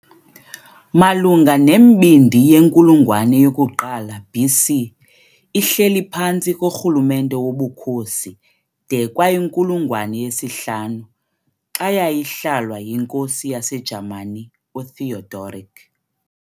Malunga nembindi yenkulungwane yoku-1 BC, ihleli phantsi korhulumente woBukhosi de kwayinkulungwane ye-5, xa yayihlalwa yinkosi yaseJamani uTheodoric.